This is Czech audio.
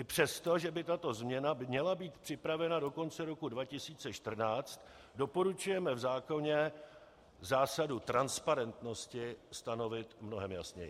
I přesto, že by tato změna měla být připravena do konce roku 2014, doporučujeme v zákoně zásadu transparentnosti stanovit mnohem jasněji.